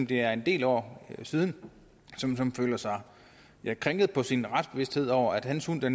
det er en del år siden føler sig krænket på sin retsbevidsthed over at hans hund bliver